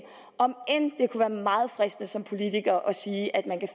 om end det kunne være meget fristende som politiker at sige at man kan